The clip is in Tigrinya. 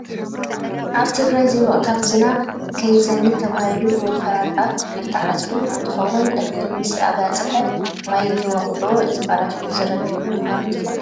ኣብ ትግራይ ዘይወቅታዊ ዝናብ ከይዘንብ ተባሂሉ ብወፈራ ጣፍ እንዳተዓፀደ እንትከውን፣ እክሊ ምስ ኣባፀሓ ማይ ተወቅዕዎ ዝባላሾን ዝረግፍን ምኳኑ ትፈልጡ ዶ?